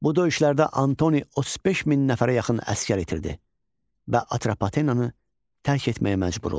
Bu döyüşlərdə Antoni 35 min nəfərə yaxın əsgər itirdi və Atropatenanı tərk etməyə məcbur oldu.